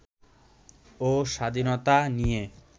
ও স্বাধীনতা নিয়ে